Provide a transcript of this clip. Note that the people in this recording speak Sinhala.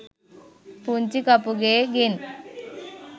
පුංචි කපුගේ ගෙන්